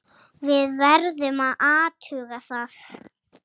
Við verðum að athuga það.